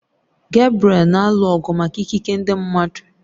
Gebriel na-alụ ọgụ maka ikike ndị mmadụ